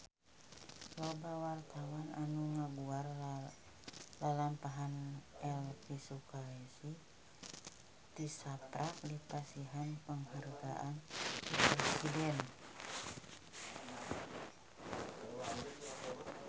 Loba wartawan anu ngaguar lalampahan Elvi Sukaesih tisaprak dipasihan panghargaan ti Presiden